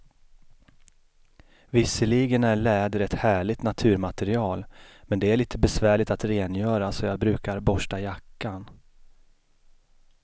Visserligen är läder ett härligt naturmaterial, men det är lite besvärligt att rengöra, så jag brukar borsta jackan.